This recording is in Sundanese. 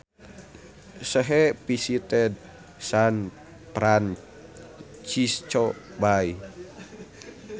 She visited San Francisco Bay